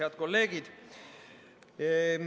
Head kolleegid!